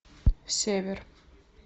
север